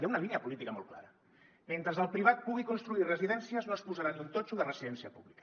hi ha una línia política molt clara mentre el privat pugui construir residències no es posarà ni un totxo de residència pública